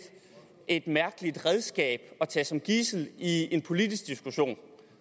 et mærkeligt redskab at tage som gidsel i en politisk diskussion